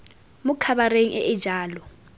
mo khabareng e e jalo